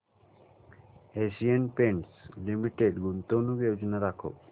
Asian Paints Limited गुंतवणूक योजना दाखव